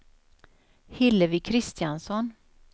Hillevi Kristiansson